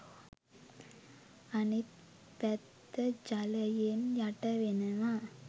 අනිත් පැත්ත ජලයෙන් යටවෙනවා